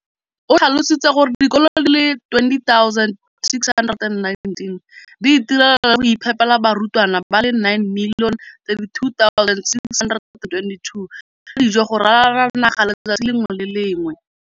O tlhalositse gore dikolo di le 20 619 di itirela le go iphepela barutwana ba le 9 032 622 ka dijo go ralala naga letsatsi le lengwe le le lengwe.